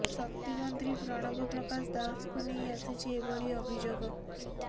ଶକ୍ତି ମନ୍ତ୍ରୀ ପ୍ରଣବ ପ୍ରକାଶ ଦାସଙ୍କୁ ନେଇ ଆସିଛି ଏଭଳି ଅଭିଯୋଗ